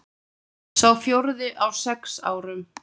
Sá fjórði á sex árum.